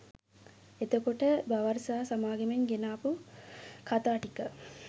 එතකොට බවර් සහ සමාගමෙන් ගෙනාපු කතා ටික